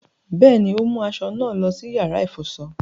Bẹẹni, o mu aṣọ náà lọ sí yàrá ifọṣọ